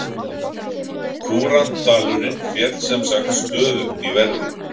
Kúrantdalurinn féll sem sagt stöðugt í verði.